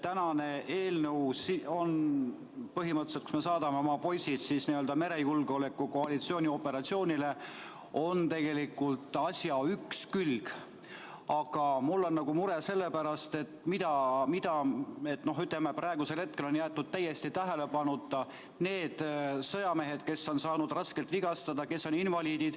Tänase eelnõu üks külg on põhimõtteliselt see, et me saadame oma poisid merejulgeoleku koalitsiooni operatsioonile, aga mul on mure sellepärast, et hetkel on jäetud täiesti tähelepanuta need sõjamehed, kes on saanud raskelt vigastada, kes on invaliidid.